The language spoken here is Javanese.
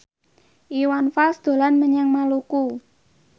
Iwan Fals dolan menyang Maluku